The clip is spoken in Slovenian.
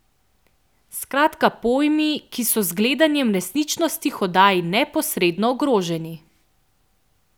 Skratka pojmi, ki so z gledanjem resničnostnih oddaj neposredno ogroženi!